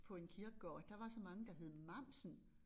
På en kirkegård der var så mange der hed Mamsen